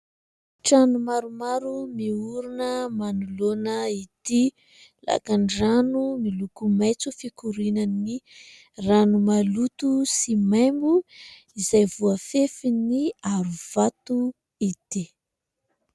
Trano maromaro miorina manoloana ity lakandrano miloko maitso fikorianan'ny rano maloto sy maimbo, izay voafefin'ny aro vato ity.